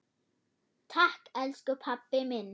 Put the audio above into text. Takk elsku pabbi minn.